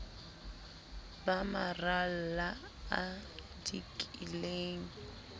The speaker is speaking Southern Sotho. ba maralla a o dikileng